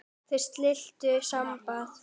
Þau slitu sambúð.